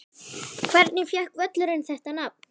Hvernig fékk völlurinn þetta nafn?